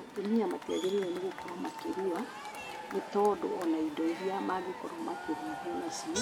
Atumia matiagĩrĩirwo nĩ gũkorwo makĩrua nĩ tondũ ona indo iria mangĩkorwo makĩruithio nacio